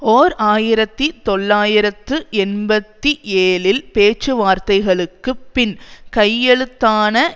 ஓர் ஆயிரத்தி தொள்ளாயிரத்து எண்பத்தி ஏழில் பேச்சுவார்த்தைகளுக்கு பின் கையெழுத்தான